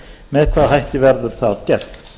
með hvaða hætti verður það gert